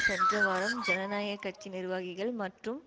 சென்ற வாரம் ஜனநாயக கட்சி நிர்வாகிகள் மற்றும்